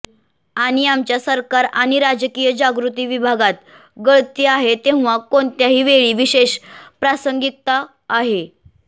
आणि आमच्या सरकार आणि राजकीय जागृती विभागात गळती आहे तेव्हा कोणत्याही वेळी विशेष प्रासंगिकता आहे